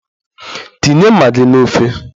Tinye magi n'ofe!